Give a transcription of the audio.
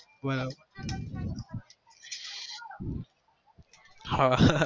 હમ બરાબર